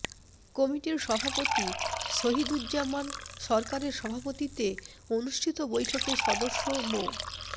কমিটির সভাপতি শহীদুজ্জামান সরকারের সভাপতিত্বে অনুষ্ঠিত বৈঠকে সদস্য মো